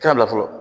Kɛra o la fɔlɔ